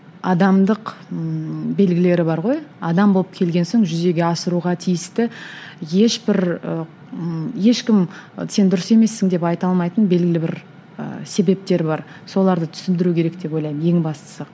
адамдық ыыы белгілері бар ғой адам болып келген соң жүзеге асыруға тиісті ешбір ы ешкім сен дұрыс емессің деп айта алмайтын белгілі бір ііі себептер бар соларды түсіндіру керек деп ойлаймын ең бастысы